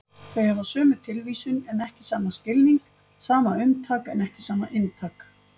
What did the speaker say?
Þau hafa sömu tilvísun en ekki sama skilning, sama umtak en ekki sama inntak.